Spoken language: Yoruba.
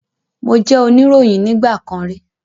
Mo jẹ́ oníròyìn nígbà kan rí